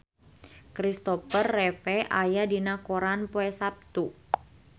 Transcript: Christopher Reeve aya dina koran poe Saptu